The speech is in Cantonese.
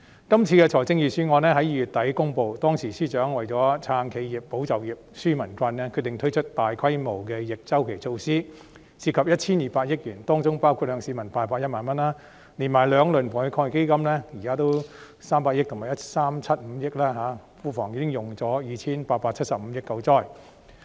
今次的財政預算案在2月底公布，當時司長為了"撐企業、保就業、紓民困"，決定推出大規模的逆周期措施，涉及 1,200 億元，當中包括向市民派發1萬元，連同兩輪防疫抗疫基金分別投入的300億元和 1,375 億元，現時庫房已經花去 2,875 億元救災。